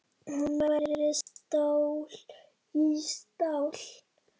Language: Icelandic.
Hún væri stál í stál.